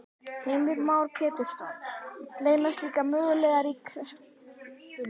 Heimir Már Pétursson: Leynast líka möguleikar í kreppunni?